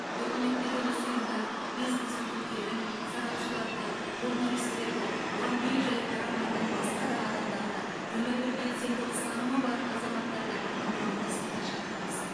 үкіметтік емес ұйымдар бизнес өкілдерін сарапшыларды журналистерді бұған бей жай қарамайтын басқа да адамдарды өмірлік белсенді ұстанымы бар азаматтарды ынтымақтастыққа шақырамыз